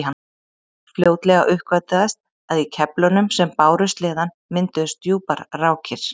Fljótlega uppgötvaðist að í keflunum sem báru sleðann mynduðust djúpar rákir.